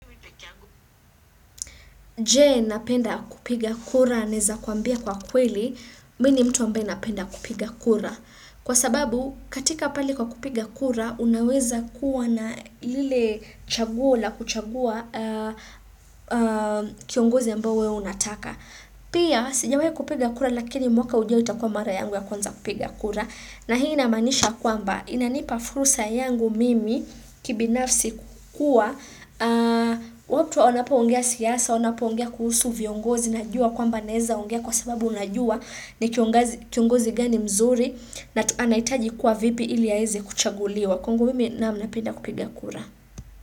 Je, unapenda kupiga kura? Naweza kuambia kwa kweli, mimi ni mtu ambaye napenda kupiga kura. Kwa sababu, katika pale kwa kupiga kura, unaweza kuwa na lile chaguo la kuchagua kiongozi ambaye wewe unataka. Pia, sijawahi kupiga kura lakini mwaka ujao itakuwa mara yangu ya kwanza kupiga kura na hii inamaanisha kwamba inanipa fursa yangu mimi kibinafsi kukuwa watu wanapoongea siasa, wanapoongea kuhusu viongozi najua kwamba naweza ongea kwa sababu najua ni kiongozi gani mzuri na anahitaji kuwa vipi ili aweze kuchaguliwa. Kwangu mimi naam napenda kupiga kura.